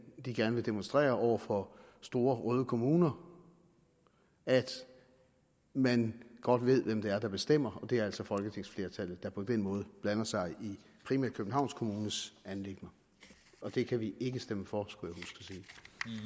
gerne vil demonstrere over for store røde kommuner at man godt ved hvem det er der bestemmer og det er altså folketingsflertallet der på den måde blander sig i primært københavns kommunes anliggender det kan vi ikke stemme for skulle